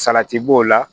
Salati b'o la